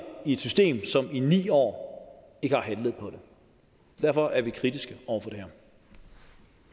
i et system som i ni år ikke har handlet på det derfor er vi kritiske over for det